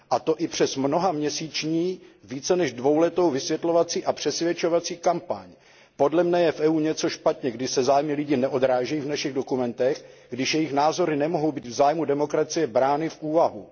A to i přes mnohaměsíční více než dvouletou vysvětlovací a přesvědčovací kampaň. Podle mne je v EU něco špatně, když se zájmy lidí neodrážejí v našich dokumentech, když jejich názory nemohou být v zájmu demokracie brány v úvahu.